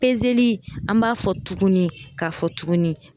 an b'a fɔ tuguni k'a fɔ tuguni